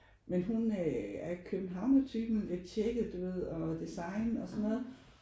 Men hun øh er københavnertypen lidt tjekket du ved og design og sådan noget